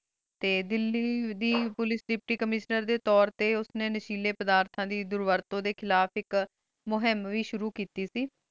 T Delhi ਦੀ ਪੁਲਿਕੇ ਦੇਪ੍ਤੀਕੈਮੇਸ੍ਟਰ ਡੀ ਤੁਰ ਟੀ ਉਸ੍ਨੀ ਨਸ਼ੀਲੀ ਪੇਰ੍ਦ੍ਰਦਾ ਡੀ ਖਿਲਾਫ਼ ਆਇਕ ਮੁਹਿਮ ਵੇ ਸ਼ੁਰੂ ਕੀਤੀ ਸੇ